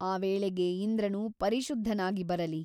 ಆ ವೇಳೆಗೆ ಇಂದ್ರನು ಪರಿಶುದ್ಧನಾಗಿ ಬರಲಿ.